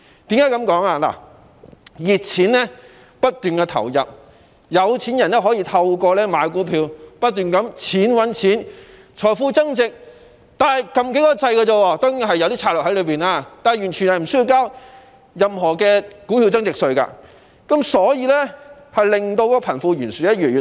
由於熱錢不斷流入，有錢人可以透過買股票，不斷"錢搵錢"，只須按些掣，財富便會增值——當中當然也涉及投資策略——但他們完全不用繳交股票增值稅，令貧富懸殊越來越嚴重。